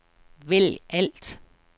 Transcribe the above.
vælg alt